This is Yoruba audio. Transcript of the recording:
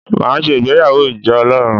Màá se ìgbéyàwó ìjọ Ọlọ́run